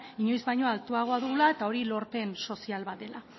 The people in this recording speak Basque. inoiz baino altuago dugula eta hori lorpen sozial bat dela